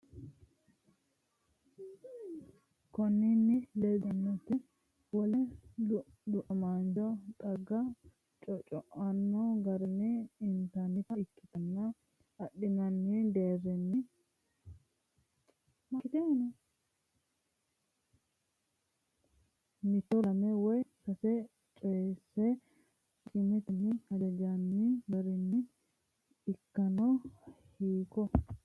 Konninni ledoteno wole du’namaancho xagga cocco’anno garinni inannita ikkitanna adhinanni deerrinsano mitto, lame woy sase co’eessa akimetenni hajanjoonni garinni ikkanno, Hiikko?